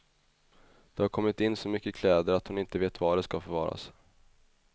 Det har kommit in så mycket kläder att hon inte vet var de ska förvaras.